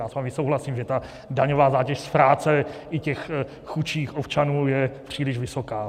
Já s vámi souhlasím, že ta daňová zátěž z práce i těch chudších občanů je příliš vysoká.